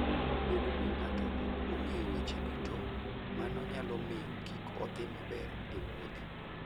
Bedo ni ng'ato ok ong'eyo weche duto, mano nyalo miyo kik odhi maber e wuoth.